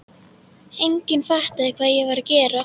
Enginn fattaði hvað ég var að gera.